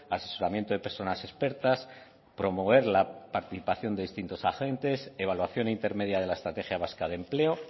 asesoramiento de personas expertas promover la participación de distintos agentes evaluación intermedia de la estrategia vasca de empleo